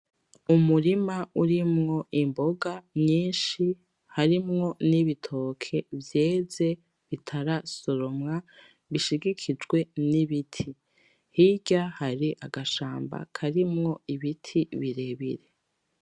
Umurima urimwo imboga nyinshi harimwo n'ibitoke vyeze bitarasoromwa bishigikijwe n'ibiti. Hirya hari agashamba karimwo ibiti birebire.